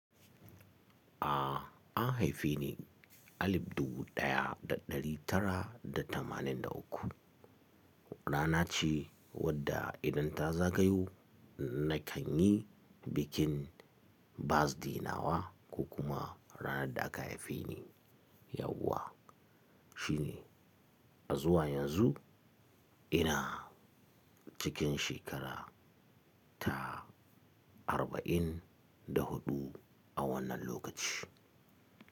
A an haife ni alif dubu ɗaya da ɗari tara da tamanin da uku. Rana ce wadda idan ta zagayo na kan yi bikin birthday nawa ko kuma ranar da aka haife ni. Yauwa shi ne, a zuwa yanzu ina cikin shekara ta arba'in da huɗu a wannan lokaci.